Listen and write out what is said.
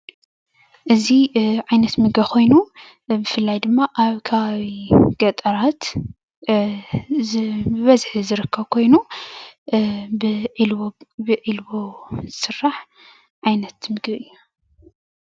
እዚ ዓይነት ምግቢ ኮይኑ ብፍላይ ድማ ኣብ ከባቢ ገጠራት ብበዝሒ ዝርከብ ኮይኑ ብዒልቦ ብዒልቦ ዝስራሕ ዓይነት ምግቢ እዩ፡፡